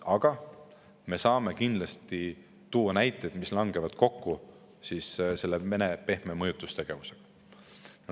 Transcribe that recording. Aga me saame kindlasti tuua näiteid, mis langevad kokku Venemaa pehme mõjutustegevusega.